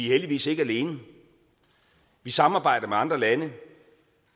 heldigvis ikke alene vi samarbejder med andre lande